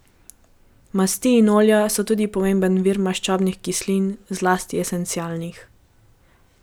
Masti in olja so tudi pomemben vir maščobnih kislin, zlasti esencialnih.